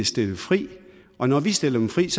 stillet frit og når vi stiller dem frit